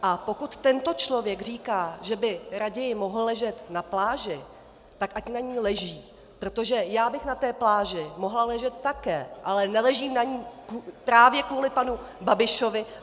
A pokud tento člověk říká, že by raději mohl ležet na pláži, tak ať na ní leží, protože já bych na té pláži mohla ležet také, ale neležím na ní právě kvůli panu Babišovi.